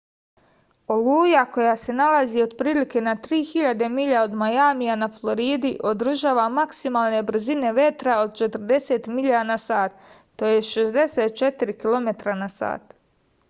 олуја која се налази отприлике на 3000 миља од мајамија на флориди одржава максималне брзине ветра од 40 миља на сат 64 km/h